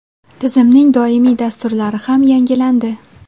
Tizimning doimiy dasturlari ham yangilandi.